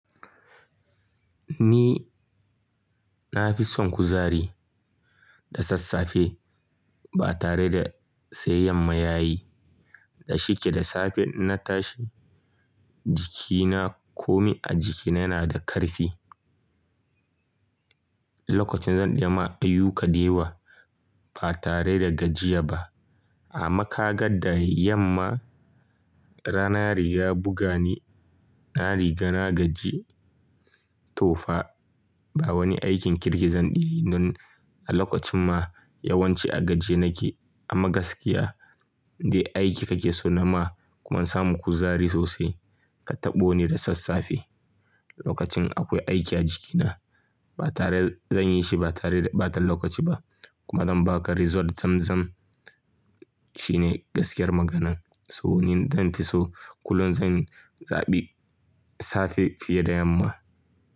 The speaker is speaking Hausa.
Ni na fi son kuzari da sassafe ba tare da sayayyan mayayi. Da shike da safe na tashi jikina komi a jikina yana da karfi. Lokacin zan ɗaya ma a yi yuƙa dewa ba tare da gajiya ba. Amma kaga da yamma rana riga buga ni na riga na gaji tofa. Ba wani aikin kirki zan ɗeyi nan. A lokacin ma yawanci a gaji ye nake amma gaskiya dai aiki kake so na ma kuma in samu kuzari sosai. Ka taɓo ni da sassafe lokacin akwai aiki a jikina ba tare zan yi shi ba tare da ɓatan lokaci ba kuma zan ba ka result zamzam shine gaskiyar maganan. So ni dan fi so kullum zan zaɓi safe fiye da yamma.